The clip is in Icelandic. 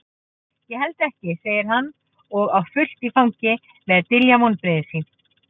Ég held ekki, segir hann og á fullt í fangi með að dylja vonbrigði sín.